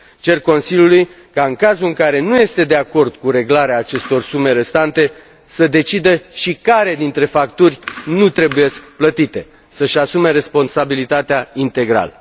Cer Consiliului ca, în cazul în care nu este de acord cu reglarea acestor sume restante, să decidă și care dintre facturi nu trebuie plătite, să își asume responsabilitatea integral.